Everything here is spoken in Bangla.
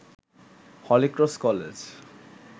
Holy Cross college